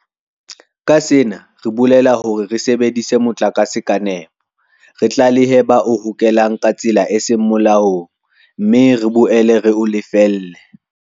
Ka sena re bolela hore re sebedise motlakase ka nepo, re tlalehe ba o hokelang ka tsela e seng molaong mme re boele re o lefelle.